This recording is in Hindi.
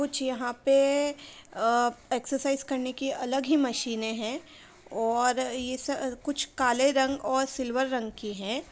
कुछ यहाँ पे अ एक्सरसाइज करने की अलग ही मशीनें हैं और ये स कुछ काले रंग और सिल्वर रंग की हैं।